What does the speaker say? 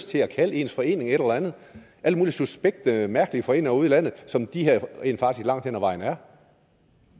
til at kalde en forening et eller andet alle mulige suspekte mærkelige foreninger ude i landet som de her rent faktisk langt hen ad vejen er